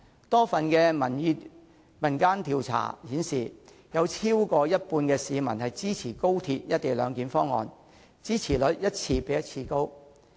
多份民間調查顯示，有超過一半的市民支持高鐵"一地兩檢"方案，支持率一次比一次高。